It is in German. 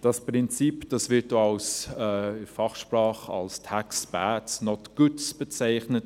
Dieses Prinzip wird in der Fachsprache auch als «Tax Bads, not Goods» bezeichnet.